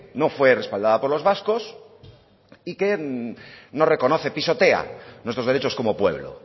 no fue respaldada por los vascos y que no reconoce pisotea nuestros derechos como pueblo